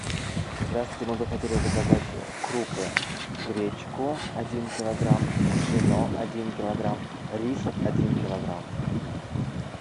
здравствуйте мы бы хотели заказать крупы гречку один килограмм пшено один килограмм рис один килограмм